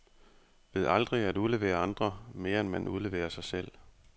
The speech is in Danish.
Ved aldrig at udlevere andre, mere end man udleverer sig selv.